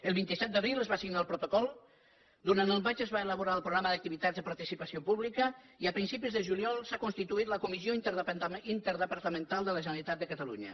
el vint set d’abril es va signar el protocol durant el maig es va elaborar el programa d’activitats i participació pública i a principis de juliol s’ha constituït la comissió interdepartamental de la generalitat de catalunya